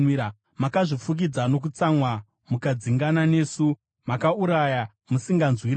“Makazvifukidza nokutsamwa mukatidzingirira; makauraya musinganzwiri ngoni.